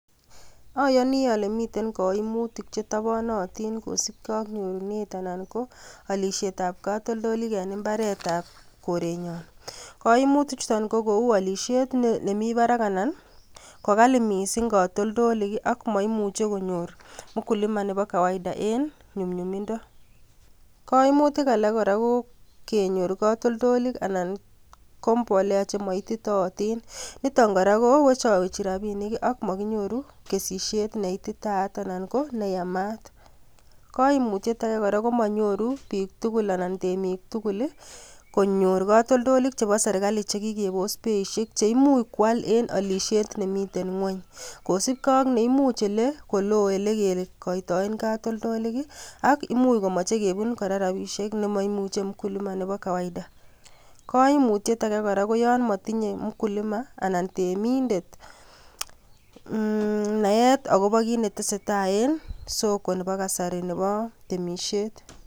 Ayani ale mitei kaimutik che itapanatin kosupkei ak nyorunet anan ko alishetab katoltolaik eng imbaaretab korenyon. Kaimutik chuto ko kou alishet nemi barak anan ko kali mising katoltolaik ako maimuchi konyor mkulima nebo kawaida eng nyumnyumindo. Kaimutik alak kora ko kenyor kaltoltolik anan ko mbolea chema ititatin, nito kora kowechawechi rapinik ak makinyoru kesisiet ne ititaat anan ko neyamat. Kaimutiet ake kora, ko manyoru biik tugul anan temik tugul konyor katoltolik che serikali chekikepos beishiek chemuch kwaal eng alishet nemitei ngwony. Kosuupkei ak ole loo olekekaitoe katoltolik ak imuch komeche kebu kora rapishek nema imuchi mkulima nebo kawaida. Kaimutiet ake kora, ko yon matinye mkulima anan temindet naet akobo kiit ne tesetai eng soko nebo kasari nebo temisiet.